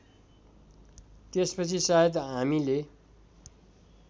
त्यसपछि सायद हामीले